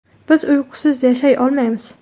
Biz uyqusiz yashay olmaymiz.